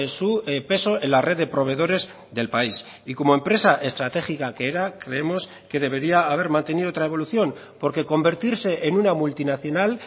su peso en la red de proveedores del país y como empresa estratégica que era creemos que debería haber mantenido otra evolución porque convertirse en una multinacional